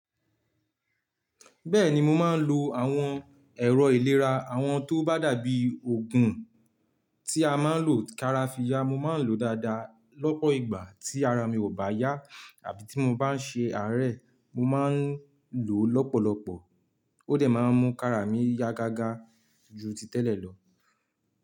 Bẹ́ẹ̀ni, mo máa ń lo àwọn ẹ̀rọ ìlera àwọn tó bá dàbí oògùn tí a máa ń lo kára fi ya. Mo máa ń lo dáadáa lọ́pọ̀ ìgbà tí ara mi ò bá yá àbí tí mo bá ń ṣe àárẹ̀, mo máa ń lò lọ́pọ̀lọpọ̀. Ó dẹ̀ máa ń mú kára mi yá gágá ju ti tẹ́lẹ̀ lọ.